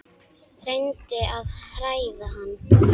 Reyndi að hræða hann.